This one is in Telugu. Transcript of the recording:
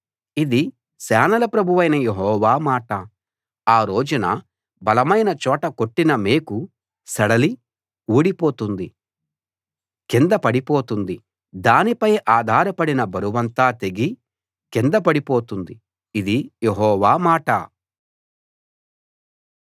ఇది సేనల ప్రభువైన యెహోవా మాట ఆ రోజున బలమైన చోట కొట్టిన మేకు సడలి ఊడిపోతుంది కింద పడిపోతుంది దానిపై ఆధారపడిన బరువంతా తెగి కింద పడుతుంది ఇది యెహోవా మాట